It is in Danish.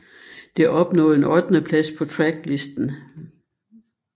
Det opnåede en ottendeplads på Tracklisten